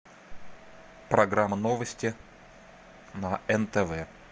программа новости на нтв